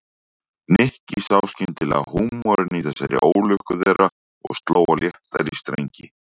Nikki sá skyndilega húmorinn í þessari ólukku þeirra og sló á léttari strengi.